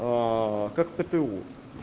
как пту